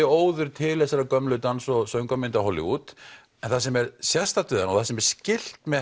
óður til þessara gömlu dans og söngvamynda Hollywood en það sem er sérstakt við hana og það sem er skylt með